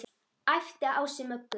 æpti Ási Möggu.